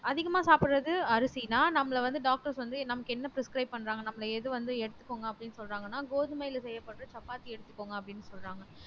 அதிகமா சாப்பிடுறது அரிசின்னா நம்மள வந்து doctors வந்து நமக்கு என்ன prescribe பண்றாங்க நம்மள எது வந்து எடுத்துக்கோங்க அப்படின்னு சொல்றாங்கன்னா கோதுமையில செய்யப்படுற சப்பாத்தி எடுத்துக்கோங்க அப்படின்னு சொல்றாங்க